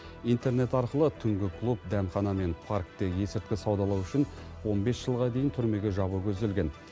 интернет арқылы түнгі клуб дәмхана мен паркте есірткі саудалау үшін он бес жылға дейін түрмеге жабу көзделген